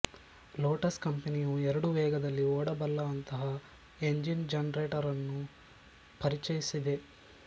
lotus ಕಂಪನಿಯು ಎರಡು ವೇಗದಲ್ಲಿ ಓಡಬಲ್ಲಂತಹ ಎಂಜಿನ್ಜನರೇಟರ್ ನ್ನು ಪರಿಚಯಿಸಿದೆ